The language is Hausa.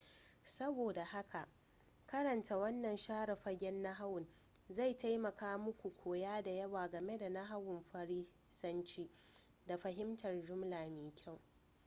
saboda haka karanta wannan share fagen nahawun zai taimaka muku koya da yawa game da nahawun farisanci da fahimtar jumla da kyau